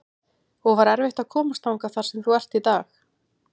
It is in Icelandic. og var erfitt að komast þangað þar sem þú ert í dag?